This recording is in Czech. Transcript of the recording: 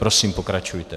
Prosím, pokračujte.